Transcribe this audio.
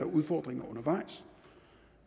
udfordringer undervejs